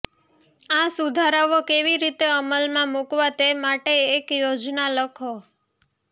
આ સુધારાઓ કેવી રીતે અમલમાં મૂકવા તે માટે એક યોજના લખો